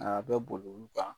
Aa bɛ boli olu kan